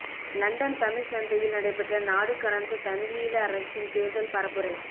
London Tamil சந்தையில் நடைபெற்ற நாடு கடந்த தமிழீழ அரசின் தேர்தல் பரப்புரை